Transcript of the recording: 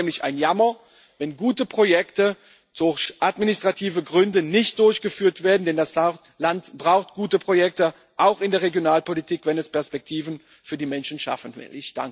Es wäre nämlich ein Jammer, wenn gute Projekte durch administrative Gründe nicht durchgeführt werden, denn das Land braucht gute Projekte, auch in der Regionalpolitik, wenn es Perspektiven für die Menschen schaffen will.